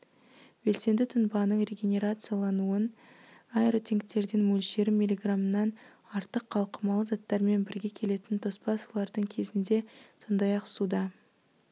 белсенді тұнбаның регенерациялануын аэротенктерден мөлшері миллиграммнан артық қалқымалы заттармен бірге келетін тоспа сулардың кезінде сондай-ақ суда